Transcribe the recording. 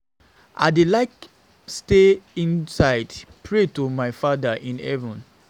I dey like to stay inside pray to my father in heaven